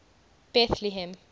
bethlehem